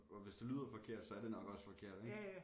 Og hvis det lyder forkert så er det nok også forkert ik